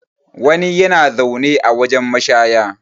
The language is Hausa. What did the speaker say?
wani yana zaune a wajen mashaya